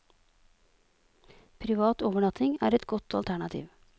Privat overnatting er et godt alternativ.